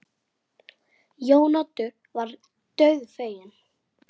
Jæja, piltar mínir!